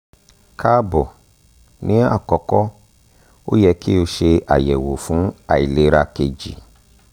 káàbọ̀ ni akọkọ o yẹ ki o ṣe ayẹwo fun ailera keji